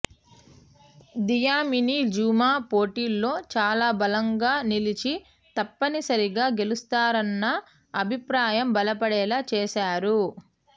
Dlamini Zuma పోటీలో చాలా బలంగా నిలిచి తప్పనిసరిగా గెలుస్తారన్న అభిప్రాయం బలపడేలా చేశారు